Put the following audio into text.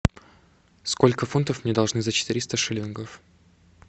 сколько фунтов мне должны за четыреста шиллингов